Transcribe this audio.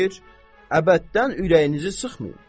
Əbəddən ürəyinizi sıxmayın.